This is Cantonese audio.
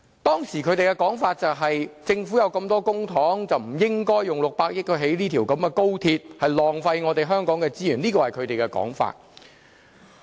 當時他們的說法是，政府有這麼多公帑，不應用600億元興建高鐵，這是浪費香港的資源，這是他們的說法。